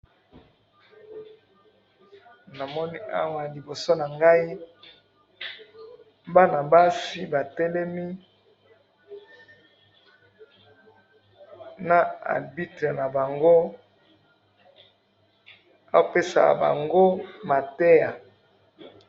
Namoni awa liboso na ngai, bana basi ba telemi na arbitre na bango apesa bango mateya.